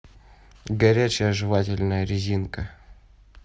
горячая жевательная резинка